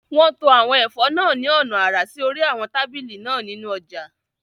Wọ́n to àwọn ẹ̀fọ́ náà ní ọ̀nà àrà sí orí àwọn tábìlì náà nínú ọjà